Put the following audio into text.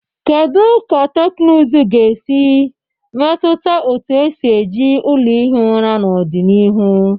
Kedu ka teknụzụ ga-esi metụta otu esi eji ụlọ ihi ụra n'ọdịnihu?